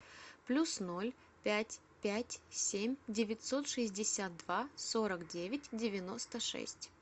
плюс ноль пять пять семь девятьсот шестьдесят два сорок девять девяносто шесть